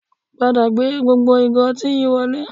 Padà gbé gbogbo ìgò ọtí yìí wọlé